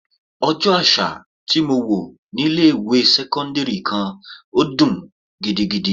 Ọjọ́ àṣà tí mo wò ní ilé ìwé sẹ́cọ́ndírì kan dùn gidigidi.